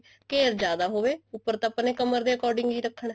ਘੇਰ ਜਿਆਦਾ ਹੋਵੇ ਉੱਪਰ ਤਾਂ ਆਪਾਂ ਨੇ ਕਮਰ ਦੇ according ਹੀ ਰੱਖਣਾ